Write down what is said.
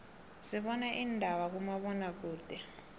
sibana indaba kuma bona kude